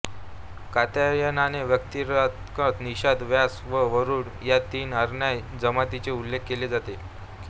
कात्यायनाने वार्तिकात निषाद व्यास व वरूड या तीन अनार्य जमातींचा उल्लेख केला आहे